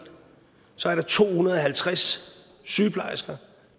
to hundrede og halvtreds sygeplejersker